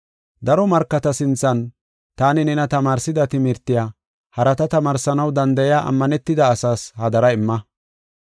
Daro markata sinthan taani nena tamaarsida timirtiya, harata tamaarsanaw danda7iya ammanetida asaas hadara imma.